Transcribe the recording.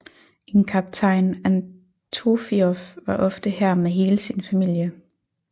En kaptajn Antofioff var ofte her med hele sin familie